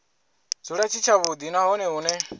dzule tshi tshavhudi nahone hune